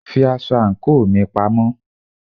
Fi aṣọ àńkò mi pa!